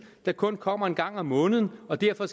der kun kommer en gang om måneden og derfor er